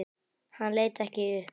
Hann leit ekki upp.